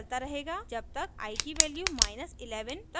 यह चलता रहेगा जब तक i की वैल्यू 11 तक न पहुँच जाये